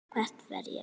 Hvert fer ég?